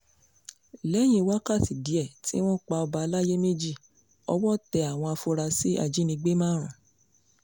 lẹ́yìn wákàtí díẹ̀ tí wọ́n pa ọba àlàyé méjì ọwọ́ tẹ àwọn afurasí ajínigbé márùn